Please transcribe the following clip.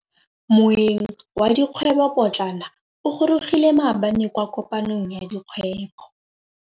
Moêng wa dikgwêbô pôtlana o gorogile maabane kwa kopanong ya dikgwêbô.